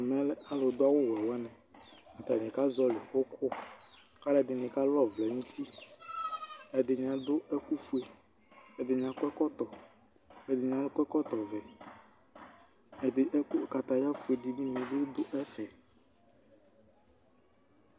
Ɛmɛ lɛ aludu awuwɛ wani Atani kazɔlɩ ʋkʋ, kʋ alu ɛdɩnɩ kalɔvlɛ nʋ uti Ɛdɩnɩ adu ɛkʋfue, ɛdɩnɩ akɔ ɛkɔtɔ, kʋ ɛdɩnɩ akɔ ɛkɔtɔvɛ Katayafue dini bɩ du ɛfɛ